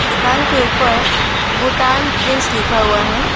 दुकान के ऊपर भूटान प्रिंस लिखा हुआ है।